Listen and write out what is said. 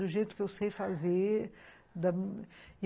Do jeito que eu sei fazer, da